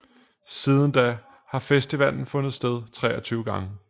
Siden da har festivalen fundet sted 23 gange